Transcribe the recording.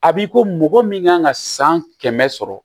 A b'i ko mɔgɔ min kan ka san kɛmɛ sɔrɔ